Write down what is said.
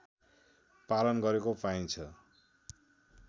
पालन गरेको पाइन्छ